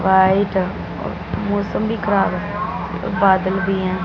White और मौसम भी खराब है बादल भी हैं।